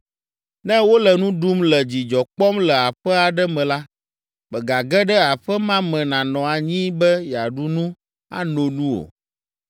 “Ne wole nu ɖum le dzidzɔ kpɔm le aƒe aɖe me la, mègage ɖe aƒe ma me nanɔ anyi be yeaɖu nu, ano nu o.